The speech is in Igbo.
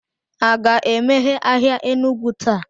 a ga-emeghe ahịa Enugu taa?